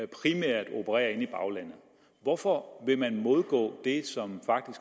primært operere inde i baglandet hvorfor vil man modgå det som